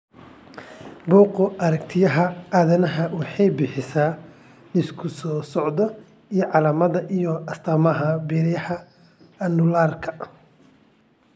Buggga Aaragtiyaha Aadanaha waxay bixisaa liiska soo socda ee calaamadaha iyo astaamaha beeryarada Annularka.